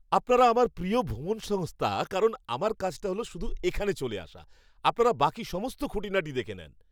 আপনারা আমার প্রিয় ভ্রমণ সংস্থা কারণ আমার কাজটা হল শুধু এখানে চলে আসা। আপনারা বাকি সমস্ত খুঁটিনাটি দেখে নেন।